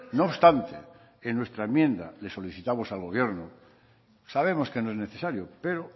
no obstante en nuestra enmienda le solicitamos al gobierno sabemos que no es necesario pero